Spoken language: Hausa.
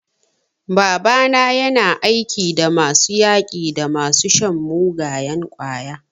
Babana yana aiki da masu yaƙi da masu shan mugayen ƙwaya.